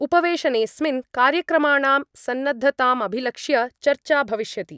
उपवेशनेस्मिन् कार्यक्रमाणां सन्नद्धतामभिलक्ष्य चर्चा भविष्यति।